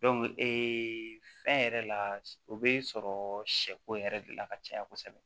fɛn yɛrɛ la o bɛ sɔrɔ sɛko yɛrɛ de la ka caya kosɛbɛ